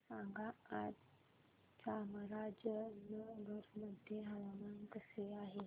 सांगा आज चामराजनगर मध्ये हवामान कसे आहे